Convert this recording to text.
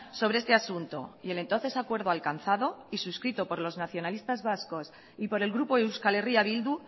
sobre este asunto y el entonces acuerdo alcanzado y suscrito por los nacionalistas vasco y por el grupo euskal herria bildu